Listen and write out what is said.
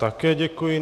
Také děkuji.